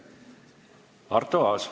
Arto Aas.